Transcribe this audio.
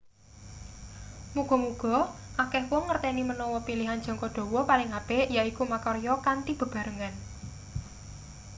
muga-muga akeh wong ngerteni manawa pilihan jangka dawa paling apik yaiku makarya kanthi bebarengan